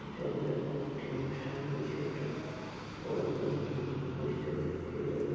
জাগাটা কোনো একটি অনুষ্ঠান বা কিছু একটা হবে বলেই মেন বুঝতে পারছি এটা দেখে।